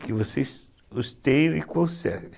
Que vocês os tenham e conservem.